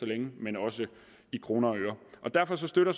længe men også i kroner og øre derfor støtter